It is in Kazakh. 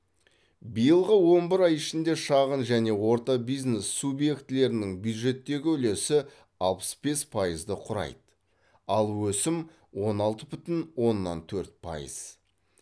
биылғы он бір ай ішінде шағын және орта бизнес субъектілерінің бюджеттегі үлесі алпыс бес пайызды құрайды ал өсім он алты бүтін оннан төрт пайыз